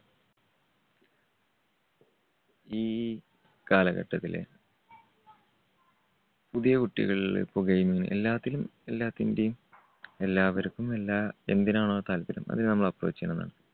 ഈ കാലഘട്ടത്തില് പുതിയ കുട്ടികളിൽ ഇപ്പോ gaming എല്ലാത്തിലും എല്ലാത്തിന്റെയും എല്ലാവർക്കും എല്ലാ എന്തിനാണോ താല്പര്യം അത് നമ്മള് approach ചെയ്യണമെന്നാണ്.